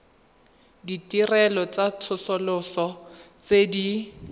ditirelo tsa tsosoloso tse di